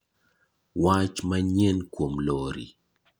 Wach manyien kuom lori